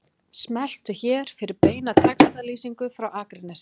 Smelltu hér fyrir beina textalýsingu frá Akranesi